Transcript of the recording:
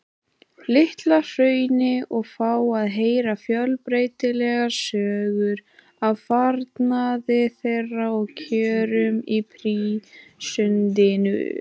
Litla-Hrauni og fá að heyra fjölbreytilegar sögur af farnaði þeirra og kjörum í prísundinni.